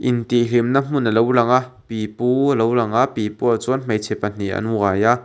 intihhlimna hmun alo lang a pipu alo lang a pipu ah chuan hmeichhe pahnih an uai a.